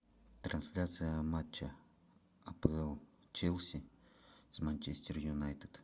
трансляция матча апл челси с манчестер юнайтед